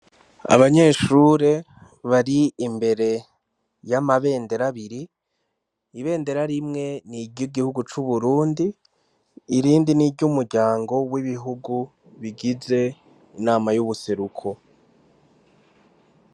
Abanyeshure bari imbere y'amabenderabiri ibendera rimwe niryo igihugu c'uburundi irindi ni iryo umuryango w'ibihugu bigize inama y'ubuseruko.